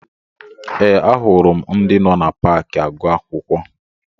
Ee, ahụrụ m ndị nọ na paakị agụ akwụkwọ